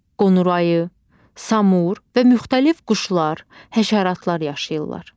Qonur ayı, samur və müxtəlif quşlar, həşəratlar yaşayırlar.